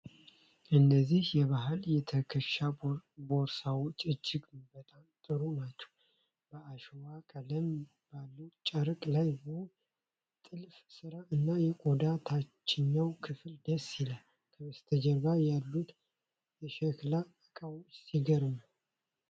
እነዚህ የባህል የትከሻ ቦርሳዎች እጅግ በጣም ጥሩ ናቸው! በአሸዋ ቀለም ባለው ጨርቅ ላይ ውብ ጥልፍ ስራ እና የቆዳ ታችኛው ክፍል ደስ ይላል። ከበስተጀርባ ያሉት የሸክላ ዕቃዎች ሲገርም!